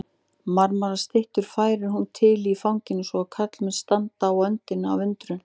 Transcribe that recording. Marmarastyttur færir hún til í fanginu svo að karlmenn standa á öndinni af undrun.